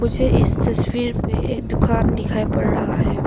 मुझे इस तस्वीर पे एक दुकान दिखाई पड़ रहा है।